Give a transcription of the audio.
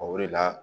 O de la